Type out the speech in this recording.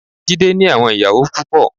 Jídé ní àwọn ìyàwó púpọ.